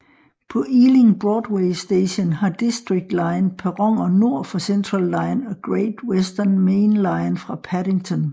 På Ealing Broadway Station har District line perroner nord for Central line og Great Western Main Line fra Paddington